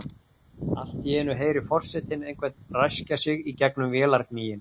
Allt í einu heyrir forsetinn einhvern ræskja sig í gegnum vélargnýinn.